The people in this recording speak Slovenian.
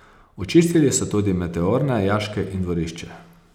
Očistili so tudi meteorne jaške in dvorišče.